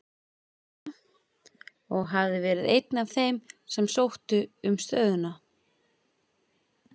Mamma, og hafði verið einn af þeim sem sóttu um stöðuna.